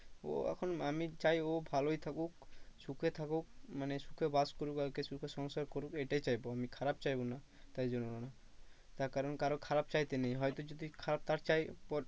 ও এখন আমি চাই ও ভালোই থাকুক সুখে থাকুক মানে সুখে বাস করুক আর কি সুখে সংসার করুক এইটাই চাইবো আমি খারাপ চাইবো না তাই জন্য। তার কারণ কারো খারাপ চাইতে নেই হয়তো যদি খারাপ তার চাই